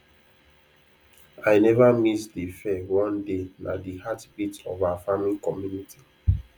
i never miss de fair one day na de heartbeat of our farming community